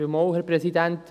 Antrag auf freie Debatte.